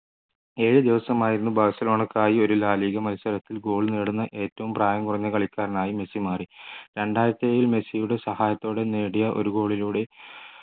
ഏഴ് ദിവസമായിരുന്നു ബാഴ്സലോണക്കായി ഒരു la liga മത്സരത്തിൽ goal നേടുന്ന ഏറ്റവും പ്രായം കുറഞ്ഞ കളിക്കാരനായി മെസ്സി മാറി രണ്ടായിരത്തിയേഴിൽ മെസ്സിയുടെ സഹായത്തോടെ നേടിയ ഒരു goal ലൂടെ